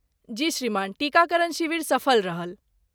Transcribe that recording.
जी श्रीमान, टीकाकरण शिविर सफल रहल।